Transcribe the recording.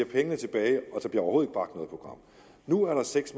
pengene tilbage og så program nu er der seks